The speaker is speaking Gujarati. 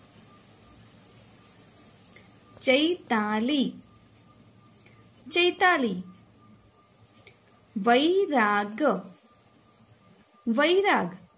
ચૈ તા લી ચૈતાલી વૈ રા ગ વૈરાગ